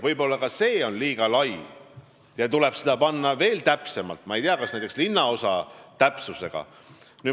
Võib-olla on ka see liiga suur piirkond ja tuleks öelda veel täpsemalt, ma ei tea, näiteks linnaosa täpsusega.